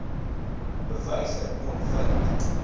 bewyse kon gevind